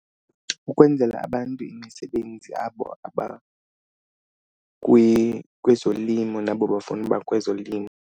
Ukwenzela abantu imisebenzi abo kwezolimo nabo bafuna uba kwezolimo.